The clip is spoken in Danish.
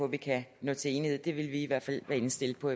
vi kan nå til enighed det vil vi i hvert fald være indstillet på